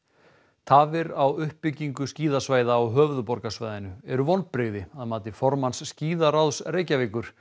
tafir á uppbyggingu skíðasvæða á höfuðborgarsvæðinu eru vonbrigði að mati formanns skíðaráðs Reykjavíkur